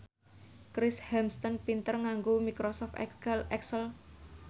Chris Hemsworth pinter nganggo microsoft excel